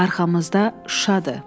Arxamızda Şuşadır.